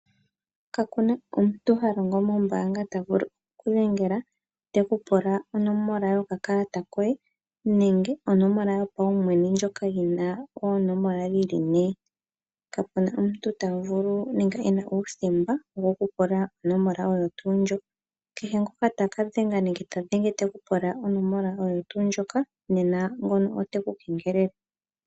Ka kuna omuntu ha longo mombaanga ta vulu okukudhengela teku pula onomola yokakalata koye nrnge onomola yopaumwene ndjoka yina oonomola dhili nekapuna omuntu ta vulu nenge wna uuthemba woku pula onomola oyo tuu ndjo kehe ngoka taka dhenga nenge ta dhenge te ku pula onomola oyo tuu ndjoka nena ngoka ote ku kengelele.